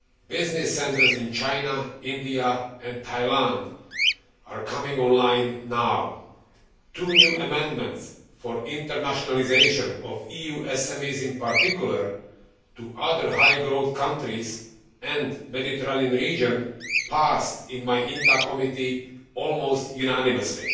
Business centres in China, India and Thailand are coming on line now two new amendments for the internationalisation of EU SMEs, in particular on other high growth countries and the Mediterranean region, passed in my INTA committee almost unanimously.